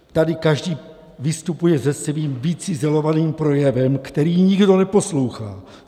Tady každý vystupuje se svým vycizelovaným projevem, který nikdo neposlouchá.